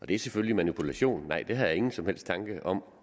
det er selvfølgelig manipulation nej det har jeg ingen som helst tanker om